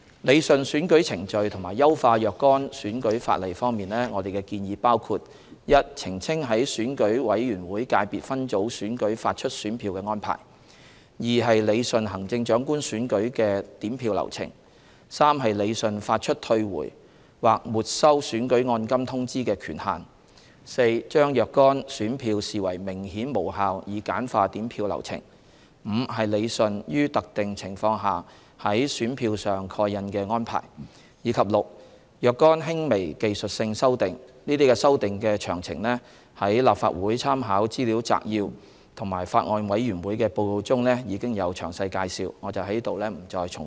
理順選舉程序及優化若干選舉法例方面，我們的建議包括： a 澄清在選舉委員會界別分組選舉發出選票的安排； b 理順行政長官選舉的點票流程； c 理順發出退回或沒收選舉按金通知的權限； d 將若干選票視為明顯無效以簡化點票流程； e 理順於特定情況下在選票上蓋印的安排；及 f 若干輕微技術性修訂，這些修訂的詳情在立法會參考資料摘要和法案委員會的報告中已有詳細介紹，我在此不再重複。